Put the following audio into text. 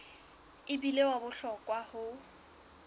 e bile wa bohlokwa ho